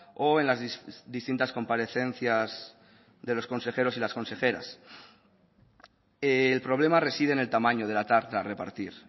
o en las distintas comparecencias de los consejeros y las consejeras el problema reside en el tamaño de la tarta a repartir